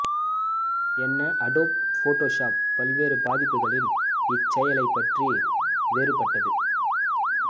என்ன Adobe Photoshop பல்வேறு பதிப்புகளில் இச் செயலைப் பற்றி வேறுபட்டது